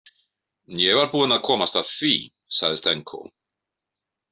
Ég var búinn að komast að því, sagði Stenko.